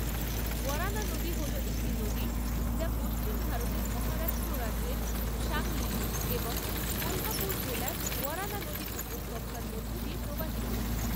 ওয়ারানা নদী হল একটি নদী যা পশ্চিম ভারতের মহারাষ্ট্র রাজ্যের সাংলি এবং কোলহাপুর জেলার ওয়ারানা নদী উপত্যকার মধ্যে দিয়ে প্রবাহিত।